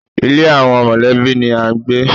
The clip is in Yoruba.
Ilé àwọn mọ̀lẹ́bí ni à ń gbé.